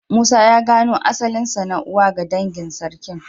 Musa ya gano asalinsa na uwa ga dangin Sarkin.